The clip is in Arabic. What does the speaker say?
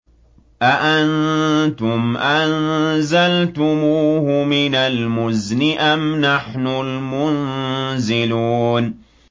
أَأَنتُمْ أَنزَلْتُمُوهُ مِنَ الْمُزْنِ أَمْ نَحْنُ الْمُنزِلُونَ